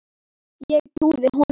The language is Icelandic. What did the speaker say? Ég trúði honum.